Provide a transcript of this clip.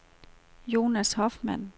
Jonas Hoffmann